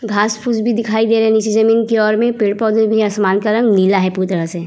घास-फूस भी दिखाई दे रहे है उस जमीन की ओर मे पेड़-पौधा भी है आसमान का रंग नीला है पूरी तरह से ।